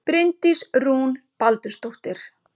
Bryndís Rún Baldursdóttir